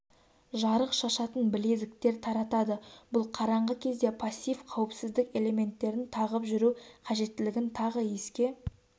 жарық шашатын білезіктер таратады бұл қараңғы кезде пассив қауіпсіздік элементтерін тағып жүру қажеттілігін тағы еске